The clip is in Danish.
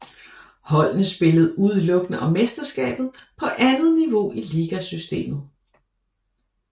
Holdene spillede udelukkende om mesterskabet på andet niveau i ligasystemet